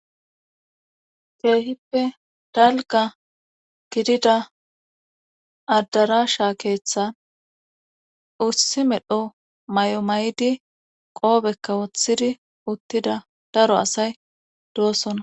Ke'hippe dalgga gidida addarasha keeththan issi medhdho may'o may'idi qoobekka woththidi uttida daro asay doosona